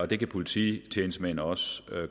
det kan polititjenestemænd også